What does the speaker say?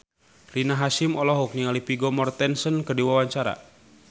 Rina Hasyim olohok ningali Vigo Mortensen keur diwawancara